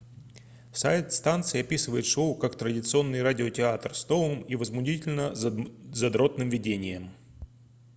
сайт станции описывает шоу как традиционный радиотеатр с новым и возмутительно задротным видением